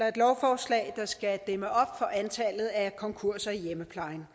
et lovforslag der skal dæmme op for antallet af konkurser i hjemmeplejen